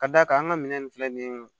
Ka d'a kan an ka minɛn ninnu filɛ nin ye